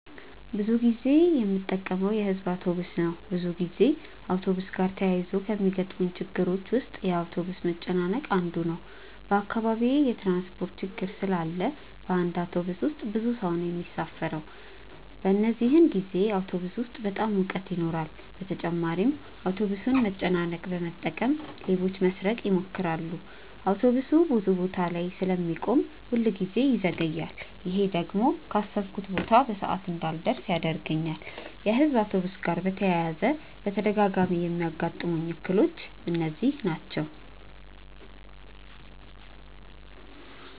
ብዙ ጊዜ የምጠቀመው የሕዝብ አውቶብስ ነው። ብዙ ጊዜ አውቶብስ ጋር ተያይዞ ከሚገጥሙኝ ችግሮች ውስጥ የአውቶብስ መጨናነቅ አንዱ ነው። በአካባቢዬ የትራንስፖርት ችግር ስላለ በአንድ አውቶብስ ውስጥ ብዙ ሰው ነው የሚሳፈረው። በዚህን ጊዜ አውቶብስ ውስጥ በጣም ሙቀት ይኖራል በተጨማሪም የአውቶብሱን መጨናነቅ በመጠቀም ሌቦች ለመስረቅ ይሞክራሉ። አውቶብሱ ብዙ ቦታ ላይ ስለሚቆም ሁል ጊዜ ይዘገያል። ይሄ ደግሞ ካሰብኩበት ቦታ በሰዓት እንዳልደርስ ያደርገኛል። የሕዝብ አውቶብስ ጋር በተያያዘ በተደጋጋሚ የሚያጋጥሙኝ እክሎች እነዚህ ናቸው።